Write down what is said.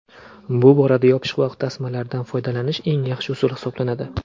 Bu borada yopishqoq tasmalardan foydalanish eng yaxshi usul hisoblanadi.